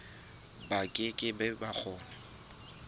ba ke ke ba kgona